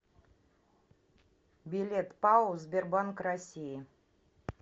билет пао сбербанк россии